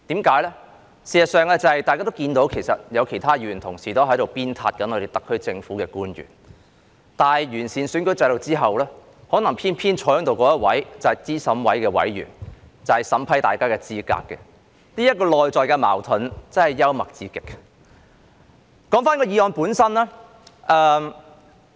事實上，大家都看到，有其他議員同事也在鞭撻特區政府的官員，但完善選舉制度後，可能偏偏坐在這裏那一位便是候選人資格審查委員會的委員，負責審核大家的參選資格。